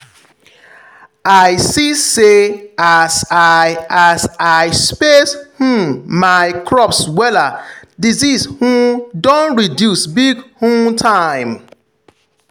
i see say as i as i space um my crops wella disease um don reduce big um time.